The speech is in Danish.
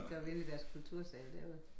Så vi inde i deres kultursal derude